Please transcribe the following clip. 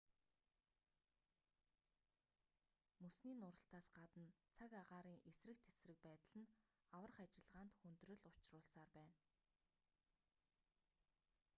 мөсний нуралтаас гадна цаг агаарын эсрэг тэсрэг байдал нь аврах ажиллагаанд хүндрэл учруулсаар байна